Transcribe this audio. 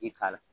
I k'a la